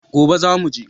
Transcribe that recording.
Gobe za mu je